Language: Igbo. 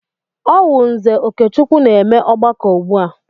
Ọ wụ Nze Okechukwu na-eme ọgbakọ ugbu a.